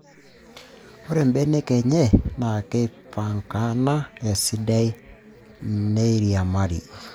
Ore mbenek enye naa keipankana esidai neiriamari.